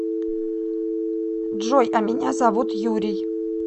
джой а меня зовут юрий